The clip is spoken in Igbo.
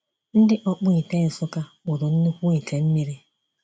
Ndị ọkpụite Nsukka kpụrụ nnukwu ite mmiri.